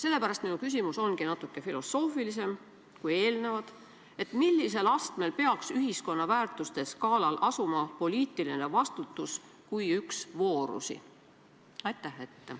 Sellepärast minu küsimus ongi natuke filosoofilisem kui eelnevad: millisel astmel peaks ühiskonna väärtuste skaalal asuma poliitiline vastutus kui üks voorusi?